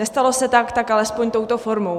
Nestalo se tak, tak alespoň touto formou.